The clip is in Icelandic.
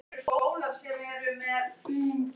Má búast við frekari liðsstyrk fyrir tímabilið?